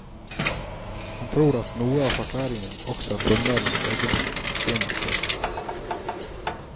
Han tror at noe av forklaringen også er dommernes egen fortjeneste.